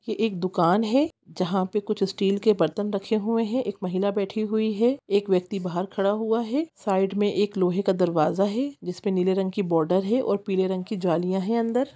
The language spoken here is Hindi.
ये एक दुकान हैं जहाँ पे कुछ स्टील के बर्तन रखे हुए हैं एक महिला बैठी हुई हैं एक व्यक्ति बाहर खड़ा हुआ हैं साइड मे एक लोहे का दरवाजा हैं जिसमे नीले रंग की बॉर्डर हैं और पीले रंग की ज्वालिया हैं अंदर--